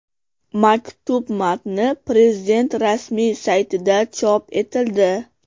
Maktub matni Prezident rasmiy saytida chop etildi .